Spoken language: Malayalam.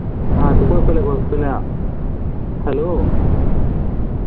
അത് കുഴപ്പല്ല കുഴപ്പല്ല hello